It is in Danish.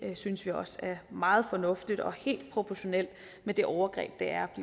synes vi også meget fornuftigt og helt proportionalt med det overgreb det er at